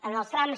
en els trams